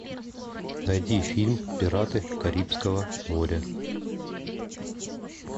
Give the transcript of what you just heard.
найти фильм пираты карибского моря